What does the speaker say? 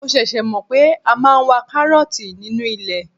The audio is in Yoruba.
Mo ṣẹ̀ṣẹ̀ mọ̀ pé a máa ń wa karooti nínú ilẹ̀.